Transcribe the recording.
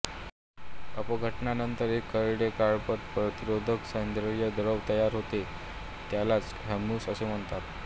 अपघटनानंतर एक करडे काळपट प्रतिरोधक सेंद्रिय द्रव्य तयार होते त्यालाच ह्यूमस असे म्हणतात